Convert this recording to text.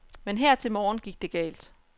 Men her til morgen gik det galt.